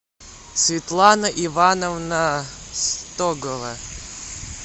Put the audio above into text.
светлана ивановна стогова